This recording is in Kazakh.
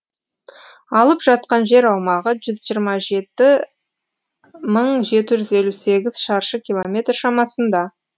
алып жатқан жер аумағы жүз жиырма жеті мың жеті жүз елу сегіз шаршы километр шамасында